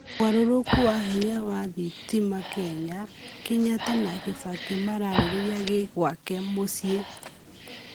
Ũgarũrũkũ wa hĩnya wa thĩtĩma Kenya' Kenyatta na kibaki mararĩrĩria kĩ gwake mucĩĩ?